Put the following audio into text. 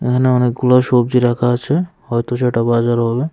এখানে অনেকগুলা সবজি রাখা আছে হয়তো ছোটো বাজার হবে।